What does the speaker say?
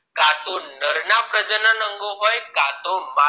કા તો નર ના પ્રજનન અંગો હોય કા તો માદા